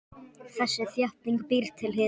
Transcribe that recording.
Þessi þétting býr til hita.